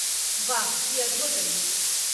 वाह, ई अद्भुत अछि।